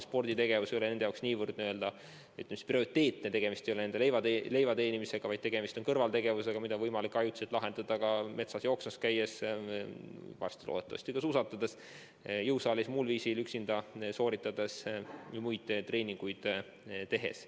Sporditegevus ei ole nende jaoks nii prioriteetne – tegemist ei ole leivateenimisega, vaid tegemist on kõrvaltegevusega, mida on võimalik ajutiselt asendada ka metsas jooksmas käies ja varsti loodetavasti suusatades, jõusaalis või muul viisil üksinda treenides.